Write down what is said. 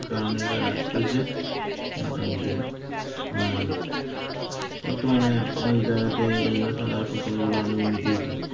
কারণ এটা মোটামুটি অ্যাঁ বর্তমানে অনেক জায়গাতে বিভিন্ন সদর হাসপাতালগুলো অনেক উন্নতি হয়েছে.